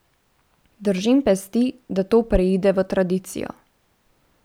Držim pesti, da to preide v tradicijo.